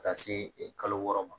Ka taa se e kalo wɔɔrɔ ma